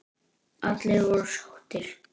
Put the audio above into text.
Allir voru sáttir.